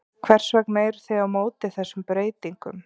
Hvers vegna eruð þið á móti þessum breytingum?